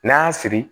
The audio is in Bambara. N'an y'a siri